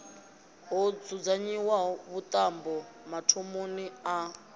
ho dzudzanyiwa vhuṱambo mathomoni a